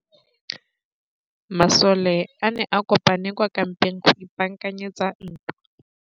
Masole a ne a kopane kwa kampeng go ipaakanyetsa ntwa.